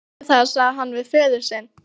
Felldu það, sagði hann við föður sinn.